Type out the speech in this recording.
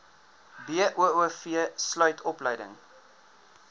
boov sluit opleiding